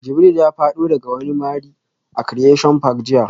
Jibril ya fado daga wani mari a Creation park jiya